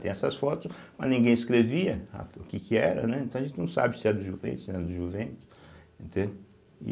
Tem essas fotos, mas ninguém escrevia a o que que era, então a gente não sabe se é do Juventus, se era no Juventus, entende. e